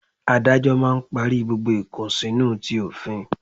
Adájọ́ máà ń parí gbogbo ìkùnsínú ti òfin